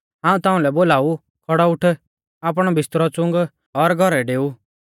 हाऊं ताउंलै बोलाऊ खौड़ौ उठ आपणौ बिस्तरौ च़ुंग और घौरै डेऊ